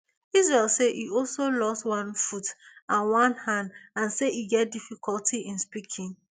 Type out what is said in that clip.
israel say e also lost one foot and one hand and say e get difficulty in speaking